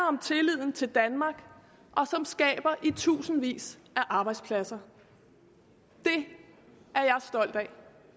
om tilliden til danmark og som skaber i tusindvis af arbejdspladser det er